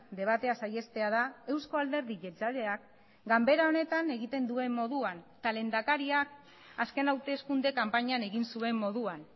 debatea saihestea da eusko alderdi jeltzaleak ganbera honetan egiten duen moduan eta lehendakariak azken hauteskunde kanpainan egin zuen moduan